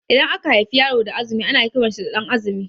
Idan aka haifi yaro da azumi ana kiran sa da Ɗan'azumi